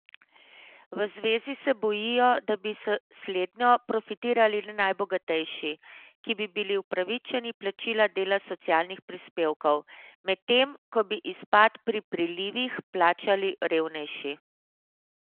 V zvezi se bojijo, da bi s slednjo profitirali le najbogatejši, ki bi bili opravičeni plačila dela socialnih prispevkov, medtem ko bi izpad pri prilivih plačali revnejši.